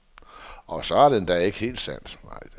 Og så er det endda ikke helt sandt.